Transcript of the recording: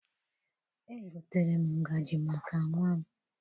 Egotere m ngaji maka nnwa m.